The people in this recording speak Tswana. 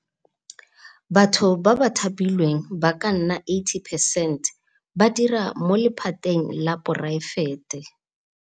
Batho ba ba thapilweng ba ka nna 80 percent ba dira mo lephateng la poraefete.